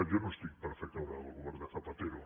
jo no estic per fer caure el govern de zapatero